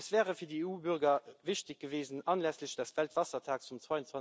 Es wäre für die EU Bürger wichtig gewesen, anlässlich des Weltwassertags am